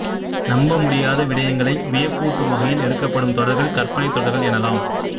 நம்ப முடியாத விடயங்களை வியப்பூட்டும் வகை யில் எடுக்கப்படும் தொடர்கள் கற்பனை தொடர்கள் எனலாம்